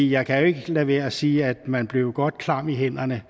jeg kan jo ikke lade være at sige at man blev godt klam i hænderne